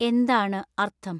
എന്താണ് അര്‍ത്ഥം